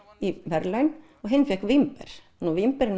í verðlaun og hinn fékk vínber vínberin